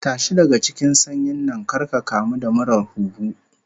Tashi daga cikin sanyin nan kar ka kamu da murar huhu